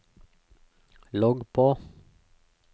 logg på